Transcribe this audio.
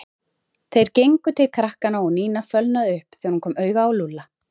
Þeir gengu til krakkanna og Nína fölnaði upp þegar hún kom auga á Lúlla.